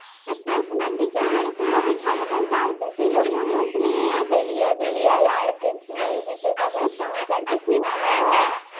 তাইতো ছিল মনে হয়তো ছিল এই হেলিয়া দুলিয়া এই আর্জেন্টিনাই জিতে যাবে আমি তো আর কিছুই না হ্যাঁ